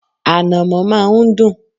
Ànàmọ́ má a n dùn